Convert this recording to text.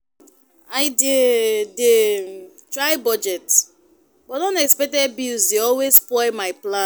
I dey dey try budget, but unexpected bills dey always spoil my plan.